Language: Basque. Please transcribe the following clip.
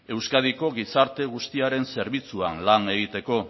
euskadiko gizarte guztiaren zerbitzuan lan egiteko